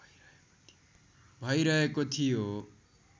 भइरहेको थियो